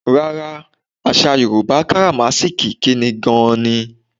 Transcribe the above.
Rárá, àsà Yorùbá káràmáásìkí ikíni gan-an ni.